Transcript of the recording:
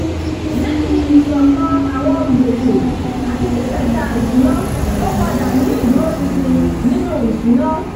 lẹ́yìn iṣọkan àwọn gbèsè àti ṣiṣẹda ìṣúná ó padà ní ìdúróṣinṣin nínú ìṣúná